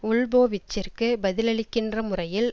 உல்போவிச்சிற்கு பதிலளிக்கின்ற முறையில்